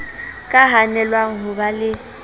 ka hanelwang ho ba le